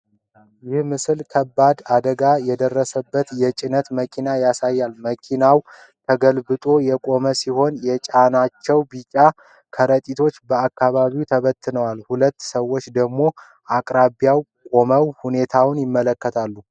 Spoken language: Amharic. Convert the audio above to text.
ይህ ምስል ከባድ አደጋ የደረሰበትን የጭነት መኪና ያሳያል። መኪናው ተገልብጦ የቆመ ሲሆን፥ የጫናቸው ቢጫ ከረጢቶች በአካባቢው ተበትነዋል። ሁለት ሰዎች ደግሞ በአቅራቢያው ቆመው ሁኔታውን ይመለከታሉ።